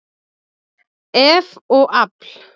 eff og afl.